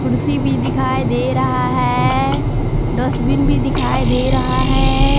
कुर्सी भी दिखाई दे रहा है डस्टबिन भी दिखाई दे रहा है।